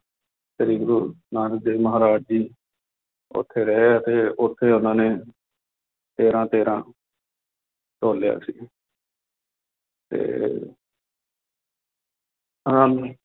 ਸ੍ਰੀ ਗੁਰੂ ਨਾਨਕ ਦੇਵ ਮਹਾਰਾਜ ਜੀ ਉੱਥੇ ਰਹੇ ਅਤੇ ਉੱਥੇ ਉਹਨਾਂ ਨੇ ਤੇਰਾ ਤੇਰਾ ਤੋਲਿਆ ਸੀ ਤੇ ਆਨੰਦ